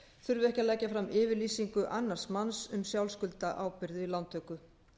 þurfi ekki að leggja fram yfirlýsingu annars manns um sjálfskuldarábyrgð við lántöku